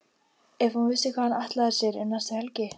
Ef hún vissi hvað hann ætlaði sér um næstu helgi!